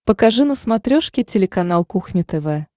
покажи на смотрешке телеканал кухня тв